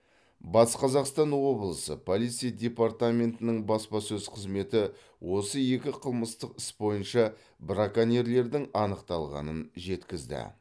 батыс қазақстан облысы полиция департаментінің баспасөз қызметі осы екі қылмыстық іс бойынша браконьерлердің анықталғанын жеткізді